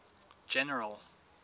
general